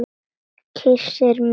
Kyssir mig.